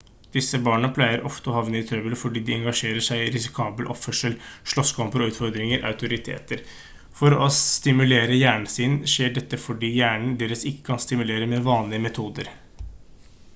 disse barna pleier ofte å havne i trøbbel fordi de «engasjerer seg i risikabel oppførsel slåsskamper og utfordrer autoriteter» for å stimulere hjernen sin. dette skjer fordi hjernen deres ikke kan stimuleres med vanlige metoder